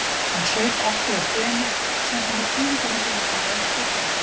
Hún saup aftur á teinu, sendi mér þýðingarmikið augnaráð og hló.